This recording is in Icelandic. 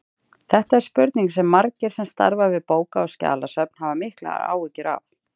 Þetta er spurning sem margir sem starfa við bóka- og skjalasöfn hafa miklar áhyggjur af.